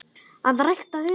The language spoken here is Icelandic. AÐ RÆKTA HUGANN